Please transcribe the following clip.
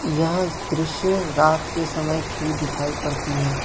यह दृश्य रात के समय की दिखाई पड़ती है।